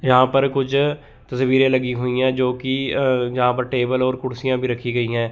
यहाँ पर कुछ तस्वीरें लगी हुई हैं जोकि अ जहाँ पर टेबल और कुर्शियां भी रखी गयीं हैं।